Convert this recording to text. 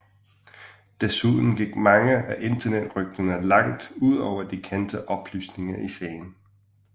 Desuden gik mange af internettet rygterne langt ud over de kendte oplysninger i sagen